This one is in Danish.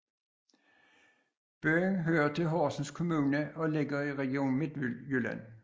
Byen hører til Horsens Kommune og ligger i Region Midtjylland